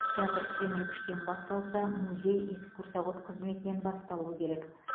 театр киім ілгіштен басталса музей экскурсовод қызметінен басталуы керек